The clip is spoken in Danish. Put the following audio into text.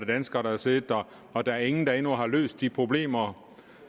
danskere der har siddet der og der er ingen der endnu har løst de problemer